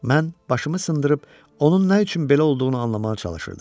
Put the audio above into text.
Mən başımı sındırıb onun nə üçün belə olduğunu anlamağa çalışırdım.